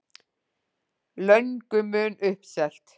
Löngu mun uppselt